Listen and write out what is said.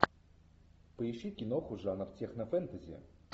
поищи киноху жанр технофэнтези